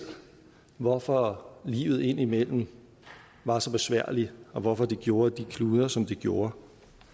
hvorfor livet indimellem var så besværligt og hvorfor det gjorde at de kludrede som de gjorde